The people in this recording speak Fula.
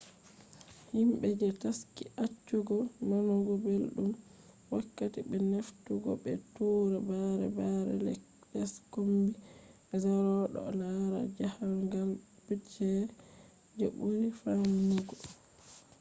himbe je taski accugo nanugo beldum, wakkati be heftugo be tura bare bare les kombi zero do lara jahangal budget je buri famdugo